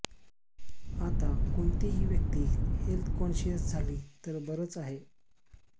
आता कोणतीही व्यक्ती हेल्थ कॉन्शियस झाली तर बरंच आहे